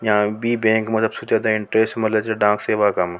यह बी बैंक सोचा --